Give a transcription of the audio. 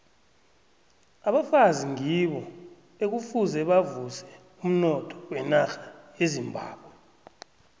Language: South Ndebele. abafazi ngibo ekufuze bavuse umnotho wenarha yezimbabwe